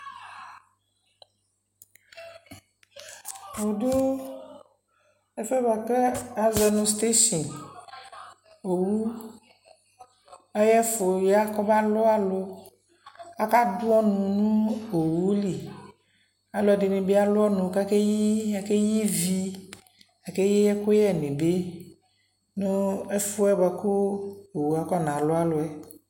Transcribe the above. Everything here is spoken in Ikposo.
wudo ɛfoɛ bua ko azɔ nu steshi owu ayɛfu ya kɔba lu alu aka du ɔnu nu owu li aludini bii alɔ ɔnu ku ake ɣ- ivi ake ɣi ɛkuyɛ bi nu ɛfɛ nu ɛfuɛ ku owu afɔ na lu aluɛ